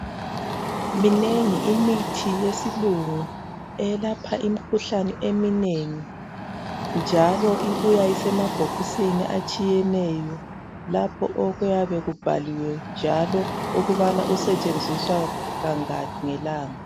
Minengi imithi yesilungu eyelapha imikhuhlane eminengi njalo ibuya isemabhokisini atshiyeneyo lapho okuyabe kubhaliwe njalo ukubana esebenziswa kangaki ngelanga.